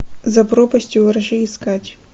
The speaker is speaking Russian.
за пропастью во ржи искать